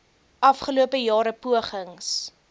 afgelope jare pogings